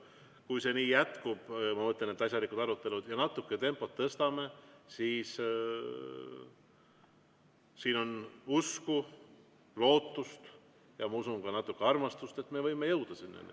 Kui see nii jätkub – ma mõtlen, et asjalikud arutelud – ja natuke tempot tõstame, siis siin on usku, lootust ja ma usun, et ka natuke armastust, et me võime jõuda sinna.